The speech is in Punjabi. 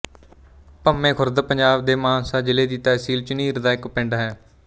ਭੰਮੇ ਖੁਰਦ ਪੰਜਾਬ ਦੇ ਮਾਨਸਾ ਜ਼ਿਲ੍ਹੇ ਦੀ ਤਹਿਸੀਲ ਝੁਨੀਰ ਦਾ ਇੱਕ ਪਿੰਡ ਹੈ